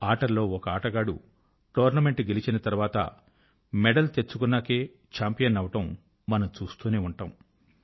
ఆటల్లో ఒక ఆటగాడు టోర్నమెంట్ గెలిచిన తర్వాత మెడల్ తెచ్చుకున్నాకే చాంపియన్ అవడం మనం చూస్తూనే ఉంటాం